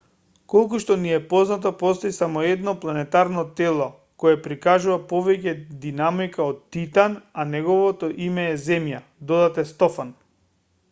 колку што ни е познато постои само едно планетарно тело кое прикажува повеќе динамика од титан а неговото име е земја додаде стофан